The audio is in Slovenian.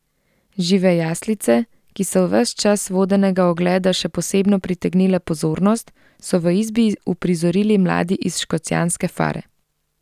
Žive jaslice, ki so ves čas vodenega ogleda še posebno pritegnile pozornost, so v izbi uprizorili mladi iz škocjanske fare.